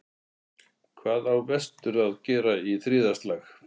Hvað á vestur að gera í þriðja slag?